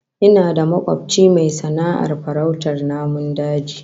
Ina da makobci mai sana'ar farautar namun daji